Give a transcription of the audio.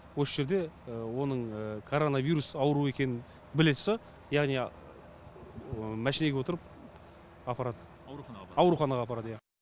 осы жерде оның коронавирус ауру екенін біле тұрса яғни машинеге отырып апарады ауруханаға апарады иа